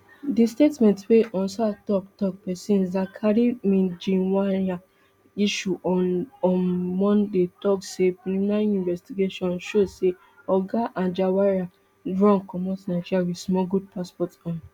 di statement wey onsa toktok pesin zakari mijinyawa issue on um monday tok say preliminary investigation show say oga anjarwalla run comot nigeria wit smuggled passport um